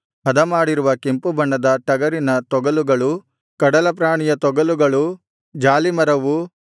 ಹದಮಾಡಿರುವ ಕೆಂಪುಬಣ್ಣದ ಟಗರಿನ ತೊಗಲುಗಳು ಕಡಲಪ್ರಾಣಿಯ ತೊಗಲುಗಳೂ ಜಾಲೀಮರವೂ